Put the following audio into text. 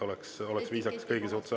See oleks viisakas kõigi suhtes.